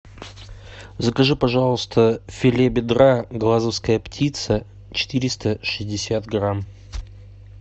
закажи пожалуйста филе бедра глазовская птица четыреста шестьдесят грамм